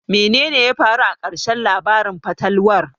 Menene ya faru a ƙarshen labarin fatalwar?